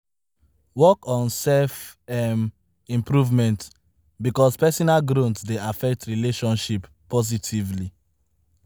Work on self um improvement because personal growth dey affect relationship positively